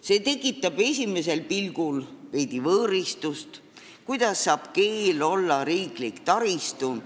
See tekitab esimesel pilgul veidi võõristust – kuidas saab keel olla riiklik taristu?